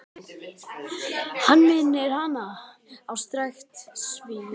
Hann minnir hana á strekkt svín.